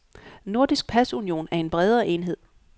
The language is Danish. Nordisk pasunion er en bredere enhed.